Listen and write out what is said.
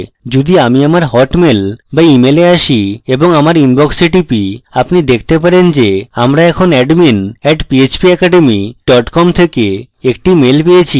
যদি আমি আমার হটmail বা wemail a আসি এবং আমার inbox click করি আপনি দেখতে পাবেন যে আমরা এখন admin @phpacademy dot com থেকে একটি mail পেয়েছি